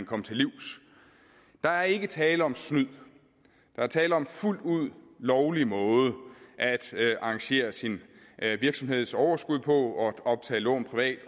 komme til livs der er ikke tale om snyd der er tale om en fuldt ud lovlig måde at arrangere sin virksomheds overskud på at optage lån privat